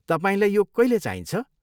तपाईँलाई यो कहिले चाहिन्छ?